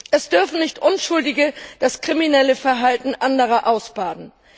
Es dürfen nicht Unschuldige das kriminelle Verhalten anderer ausbaden.